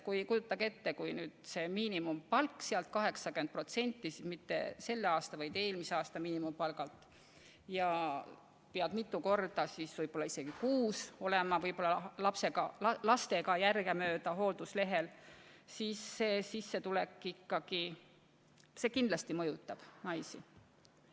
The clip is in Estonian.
Aga kujutage ette, kui arvestatakse 80% mitte selle aasta palgalt, vaid eelmise aasta miinimumpalgalt, ja pead võib-olla isegi mitu korda kuus lapsega või lastega järgemööda olema hoolduslehel, siis see sissetuleku vähenemine mõjutab naisi.